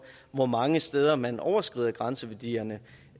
hvor mange steder man overskrider grænseværdierne